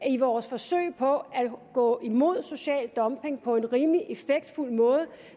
i vores forsøg på at gå imod social dumping på en rimelig effektfuld måde